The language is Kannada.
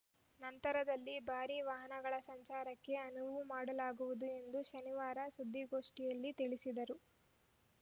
ನಂತರದಲ್ಲಿ ಭಾರಿ ವಾಹನಗಳ ಸಂಚಾರಕ್ಕೆ ಅನುವು ಮಾಡಲಾಗುವುದು ಎಂದು ಶನಿವಾರ ಸುದ್ದಿಗೋಷ್ಠಿಯಲ್ಲಿ ತಿಳಿಸಿದರು